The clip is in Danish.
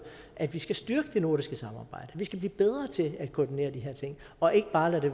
at vi skal styrke det nordiske samarbejde vi skal blive bedre til at koordinere de her ting og ikke bare lade det